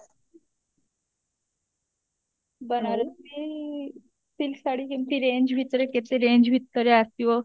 Banarasi silk ଶାଢୀ କେମତି range ଭିତରେ କେତେ range ଭିତରେ ଆସିବ?